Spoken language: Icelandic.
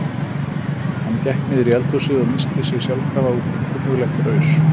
Hann gekk niður í eldhúsið og missti sig sjálfkrafa út í kunnuglegt raus.